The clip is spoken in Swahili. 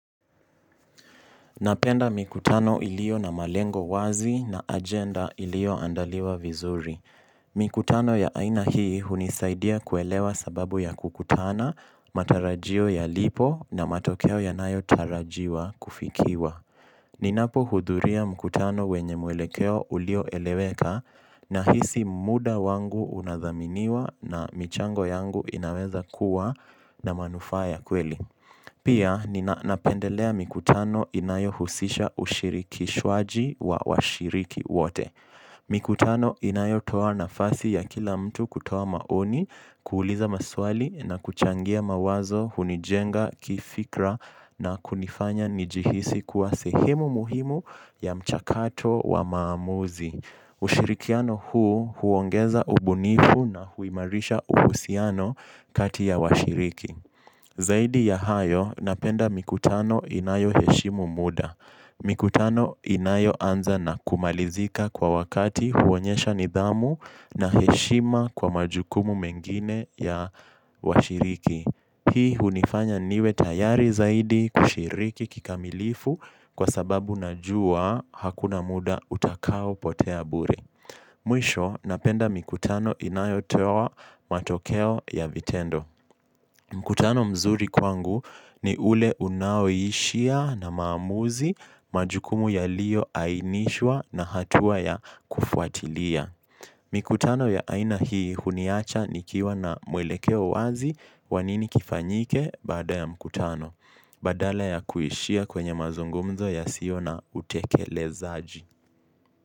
Napenda mikutano ilio na malengo wazi na agenda iliyoandaliwa vizuri. Mikutano ya aina hii hunisaidia kuelewa sababu ya kukutana, matarajio yalipo na matokeo yanayotarajiwa kufikiwa. Ninapohudhuria mkutano wenye mwelekeo ulioeleweka nahisi muda wangu unadhaminiwa na michango yangu inaweza kuwa na manufaa ya kweli. Pia ninapendelea mikutano inayohusisha ushirikishwaji wa washiriki wote. Mikutano inayotoa nafasi ya kila mtu kutoa maoni, kuuliza maswali na kuchangia mawazo hunijenga kifikra na kunifanya nijihisi kuwa sehemu muhimu ya mchakato wa maamuzi. Ushirikiano huu huongeza ubunifu na huimarisha uhusiano kati ya washiriki. Zaidi ya hayo napenda mikutano inayoheshimu muda. Mikutano inayoanza na kumalizika kwa wakati huonyesha nidhamu na heshima kwa majukumu mengine ya washiriki. Hii hunifanya niwe tayari zaidi kushiriki kikamilifu kwa sababu najua hakuna muda utakaopotea bure. Mwisho napenda mikutano inayotoa matokeo ya vitendo. Mkutano mzuri kwangu ni ule unaoishia na maamuzi majukumu yaliyoainishwa na hatua ya kufuatilia. Mikutano ya aina hii huniacha nikiwa na mwelekeo wazi wa nini kifanyike baada ya mkutano. Badala ya kuishia kwenye mazungumzo yasio na utekelezaji.